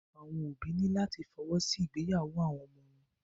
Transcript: Àwọn òbí ní láti fọwọ́ sí ìgbéyàwó àwọn ọmọ wọn.